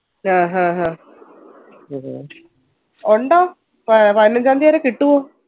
ആഹ്ഹഹ്ഹ ഉണ്ടോ പതിനഞ്ചം തിയതി വരെ കിട്ടുവോ